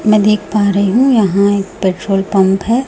मैं देख पा रही हूं यहां एक पेट्रोल पंप है।